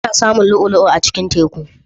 Ana samun lu'ulu'a a cikin teku.